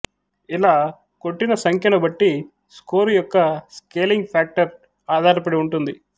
ఇలా కొట్టిన సంఖ్యను బట్టి స్కోరు యొక్క స్కేలింగ్ ఫ్యాక్టర్ ఆధార పడి ఉంటుంది